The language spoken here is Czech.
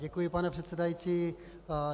Děkuji, pane předsedající.